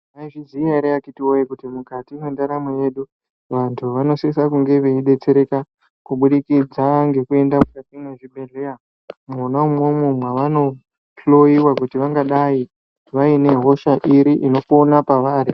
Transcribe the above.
Maizviziya ere akhiti woye kuti mukati mwendaramo yedu vantu vanosise kunge veidetsereka kubudikidza ngkuenda mukati mezvibhedhlera mwona imwomwo mwavanohloyiwa kuti vangadai vaine hosha iri inopona pavari.